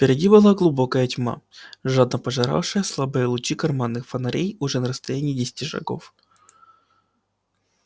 впереди была глубокая тьма жадно пожиравшая слабые лучи карманных фонарей уже на расстоянии десяти шагов